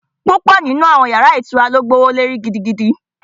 Púpọ̀ nínú àwọn yàrá ilé ìtura ló gbówó lórí gidi